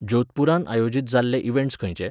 जोधपुरांत आयोजीत जाल्ले इवँट्स खंयचे?